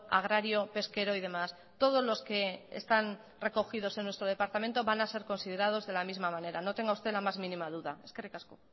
agrario pesquero y demás todos los que están recogidos en nuestro departamento van a ser considerados de la misma manera no tenga usted la más mínima duda eskerrik asko